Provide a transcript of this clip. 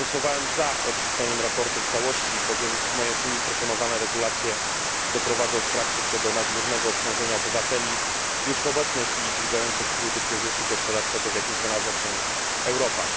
Głosowałem za odrzuceniem sprawozdania w całości, bowiem w mojej opinii proponowane regulacje doprowadzą w praktyce do nadmiernego obciążenia obywateli już w obecnej chwili dźwigających trudy kryzysu gospodarczego, w jakim znalazła się Europa.